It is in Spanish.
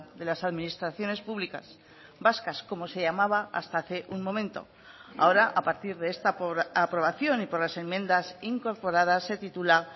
de las administraciones públicas vascas como se llamaba hasta hace un momento ahora a partir de esta aprobación y por las enmiendas incorporadas se titula